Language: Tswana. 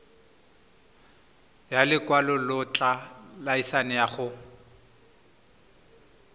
ya lekwalotetla laesense ya go